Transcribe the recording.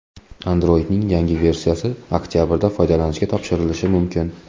Android’ning yangi versiyasi oktabrda foydalanishga topshirilishi mumkin.